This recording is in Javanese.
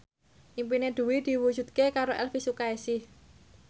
impine Dwi diwujudke karo Elvi Sukaesih